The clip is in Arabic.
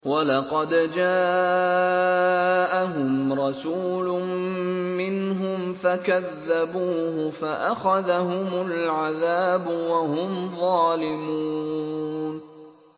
وَلَقَدْ جَاءَهُمْ رَسُولٌ مِّنْهُمْ فَكَذَّبُوهُ فَأَخَذَهُمُ الْعَذَابُ وَهُمْ ظَالِمُونَ